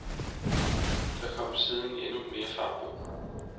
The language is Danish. Der kom siden endnu mere fart på.